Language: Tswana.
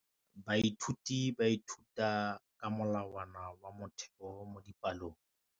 Baithuti ba ithuta ka molawana wa motheo mo dipalong.